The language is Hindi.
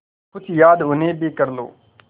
कुछ याद उन्हें भी कर लो